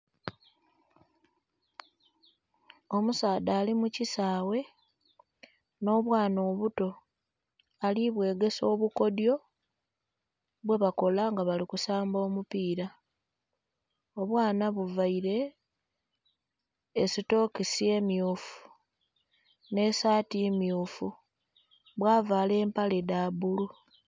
Omusaadha ali mu kisaaghe nh'obwana obuto ali bwegesa obukodhyo bwe bakola nga bali kusamba omupiira, obwana buvaire esitokisi emmyufu nh'esaati mmyufu bwa vaala empale dha bbulu.